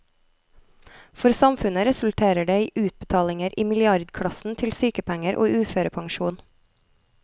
For samfunnet resulterer det i utbetalinger i milliardklassen til sykepenger og uførepensjon.